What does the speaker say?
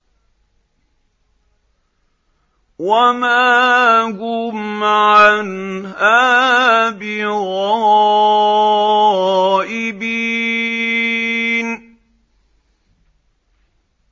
وَمَا هُمْ عَنْهَا بِغَائِبِينَ